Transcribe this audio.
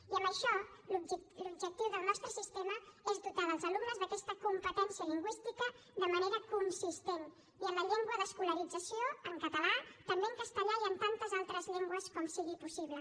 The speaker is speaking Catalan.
i amb això l’objectiu del nostre sistema és dotar els alumnes d’aquesta competència lingüística de manera consistent i en la llengua d’escolarització en català també en castellà i en tantes altres llengües com sigui possible